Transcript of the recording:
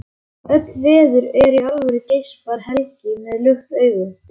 Öll veður eru alvöru, geispar Helgi með lukt augu.